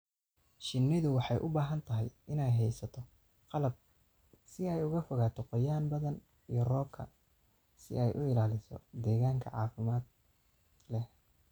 Shinnidu waxay u baahan tahay inay haysato qalab si ay uga fogaato qoyaan badan iyo roobka si ay u ilaaliso deegaan caafimaad leh.